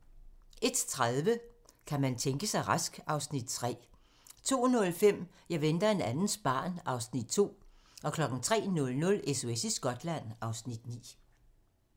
01:30: Kan man tænke sig rask? (Afs. 3) 02:05: Jeg venter en andens barn (Afs. 2) 03:00: SOS i Skotland (Afs. 9)